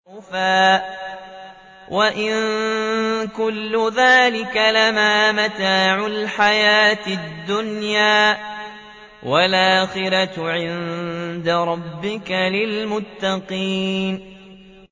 وَزُخْرُفًا ۚ وَإِن كُلُّ ذَٰلِكَ لَمَّا مَتَاعُ الْحَيَاةِ الدُّنْيَا ۚ وَالْآخِرَةُ عِندَ رَبِّكَ لِلْمُتَّقِينَ